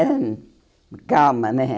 Era hum calma, né?